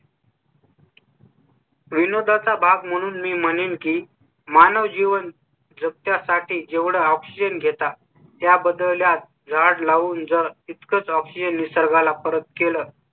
विनोदा चा भाग म्हणून मी म्हणीन की मानव जीवन जगण्या साठी जेवढा oxygen घेता त्या बदल्यात झाड लावून जर इतकच Option निसर्गा ला परत केलं